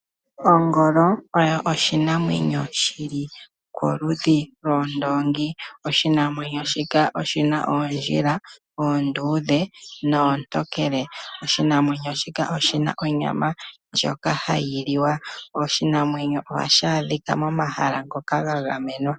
Ongolo oyo oshinamwenyo shili koludhi lwoondoongi. Oshinamwenyo shika oshina oondjila oonduudhe noo ntokele. Oshinamwenyo shika oshi na onyama ndjoka hayi liwa. Oshinamwenyo ohashi adhika mo mahala ngoka ga gamenwa.